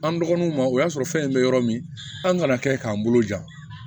An dɔgɔnunw ma o y'a sɔrɔ fɛn in bɛ yɔrɔ min an kana kɛ k'an bolo jan